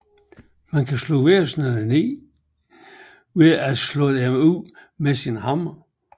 Man kan slå væsenerne ned ved at slå dem ud med sin hammer